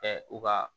u ka